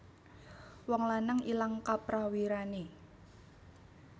Wong lanang ilang kaprawirane